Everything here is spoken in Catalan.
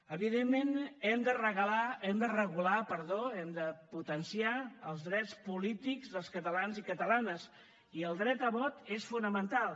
evidentment hem de regular hem de potenciar els drets polítics dels catalans i catalanes i el dret a vot és fonamental